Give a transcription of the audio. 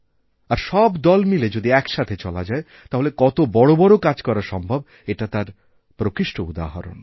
আর সবদল মিলে যদি একসাথে চলা যায় তাহলে কত বড় বড় কাজ করা সম্ভব এটা তার প্রকৃষ্টউদাহরণ